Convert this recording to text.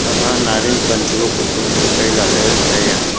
ama nyaral pan chu hupho hupho tu kei lale tai a.